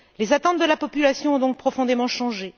Les attentes de la population ont donc profondément changé.